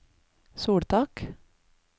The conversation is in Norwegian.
soltak